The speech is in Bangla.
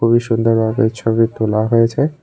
খুবই সুন্দরভাবে ছবি তোলা হয়েছে।